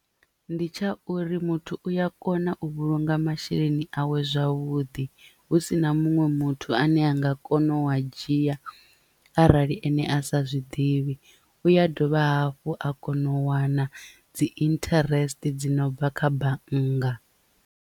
Ndi tsha uri muthu uya kona u vhulunga masheleni awe zwavhuḓi. Hu sina muṅwe muthu ane a nga kona u a dzhia arali ene a sa zwiḓivhi u ya dovha hafhu a kono u wana dzi interest dzi no bva kha bannga.